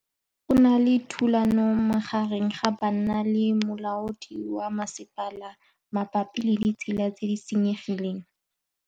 Go na le thulanô magareng ga banna le molaodi wa masepala mabapi le ditsela tse di senyegileng.